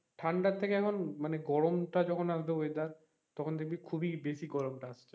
ঠান্ডার থেকে এখন মানে গরমটা যখন একটা weather তখন দেখবি খুব ই গরমটা বেশি আসছে,